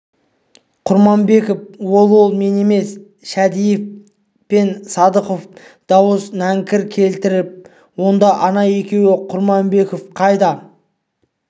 құрманбеков ол ол мен емес шәдиев пен садыханов дауыс нәңкір келтір онда ана екеуін құрманбеков қайда